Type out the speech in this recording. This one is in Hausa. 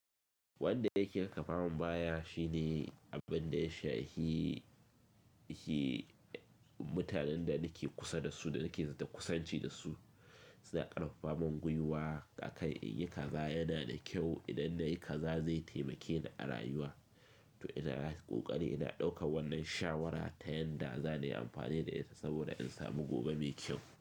Wanda yake karfa mun baya shine abin da ya sha hi-hi mutanen da nake kusa da su da nake zata kusanci da su suna karfafa mun gwiwa aka yi kaza yana da kyau idan nayi kaza zai taimake ni a rayuwa. To ina ƙoƙari ina ɗauka wannan shawara ta yanda za nayi amfani da ita saboda in samu gobe mai kyau.